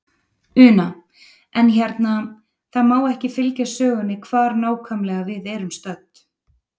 Una: En hérna, það má ekki fylgja sögunni hvar nákvæmlega við erum stödd?